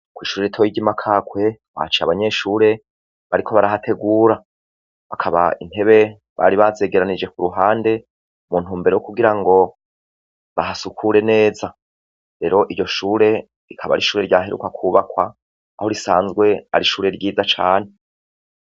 Kw'ishure toy ry'imakakwe wacae abanyeshure bariko barahategura bakaba intebe bari bazegeranije ku ruhande muntu mbere wo kugira ngo bahasukure neza rero iryo shure rikaba ari ishure ryaheruka kubakwa aho risanzwe ari ishure ryiza cane.